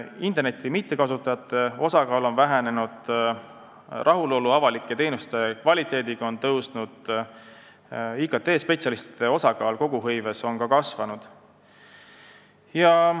Interneti mittekasutajate osakaal on vähenenud, rahulolu avalike teenuste kvaliteediga on tõusnud ja IKT-spetsialistide osakaal koguhõives on samuti kasvanud.